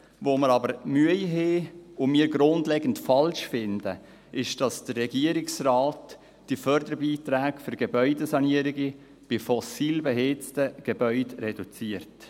Womit wir aber Mühe haben und was wir grundlegend falsch finden, ist, dass der Regierungsrat die Förderbeiträge für Gebäudesanierungen bei fossilbeheizten Gebäuden reduziert.